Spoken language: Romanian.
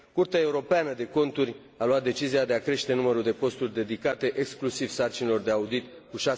Curtea Europeană de Conturi a luat decizia de a crește numărul de posturi dedicate exclusiv sarcinilor de audit cu